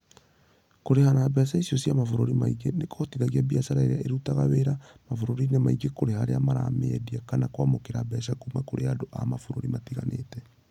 Kũrĩha na mbeca icio cia mabũrũri mangĩ nĩ kũhotithagia biacara iria irutaga wĩra mabũrũri-inĩ mangĩ kũrĩha arĩa maramĩendia kana kwamũkĩra mbeca kuuma kũrĩ andũ a mabũrũri matiganĩte.